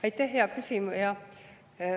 Aitäh, hea küsija!